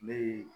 Ne ye